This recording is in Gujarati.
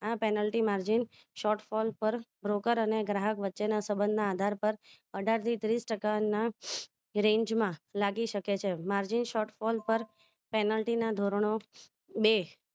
આ penalty margin short call પર broker અને ગ્રાહક વચ્ચેના સબંધના આધાર પર અઢાર થી ત્રીસ ટકાના range માં લાગી શકે છે margin short call પર penalty ના ધોરણો બે